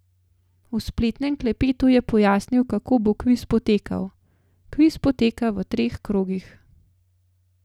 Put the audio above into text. V spletnem klepetu je pojasnil, kako bo kviz potekal: "Kviz poteka v treh krogih.